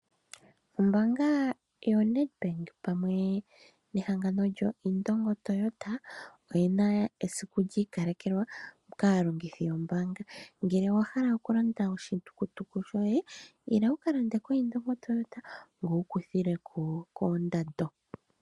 Ombaanga yoNedbank pamwe nehangango lyoIndongo Toyota oyina esiku lyiikalekelwa kaalongithi yombaanga. Ngele owahala okulanda oshitukutuku shoye , ila wukalande koIndongo Toyota, ngoye tokuthilwako kondando.